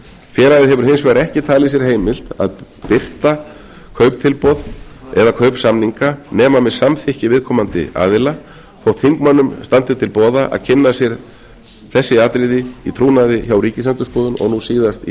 félagið hefur hins vegar ekki talið sér heimilt að birta kauptilboð eða kaupsamninga nema með samþykki viðkomandi aðila þótt þingmönnum standi til boða að kynna sér þessi atriði í trúnaði hjá ríkisendurskoðun og nú síðast í